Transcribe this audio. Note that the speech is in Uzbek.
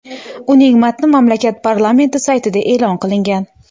Uning matni mamlakat parlamenti saytida e’lon qilingan .